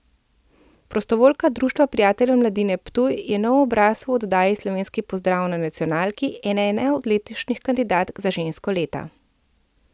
Prostovoljka Društva prijateljev mladine Ptuj je nov obraz v oddaji Slovenski pozdrav na nacionalki in ena od letošnjih kandidatk za žensko leta.